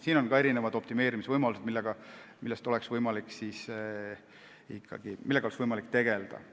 Siin on erinevaid optimeerimisvõimalusi, millega oleks võimalik tegeleda.